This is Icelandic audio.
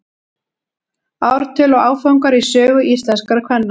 ártöl og áfangar í sögu íslenskra kvenna